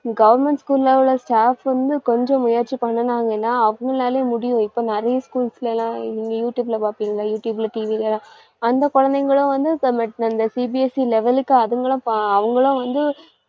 government school ல உள்ள staff வந்து கொஞ்சம் முயற்சி பண்ணுனாங்கன்னா அவங்களாலயும் முடியும் இப்ப நிறைய schools ல எல்லாம் இ~ யூடுயூப்ல பாப்பீங்க யூடுயூப்ல TV ல அந்த குழந்தைங்களும் வந்து இப்~ அந்த CBSE level க்கு அதுங்களும் அவங்களும் வந்து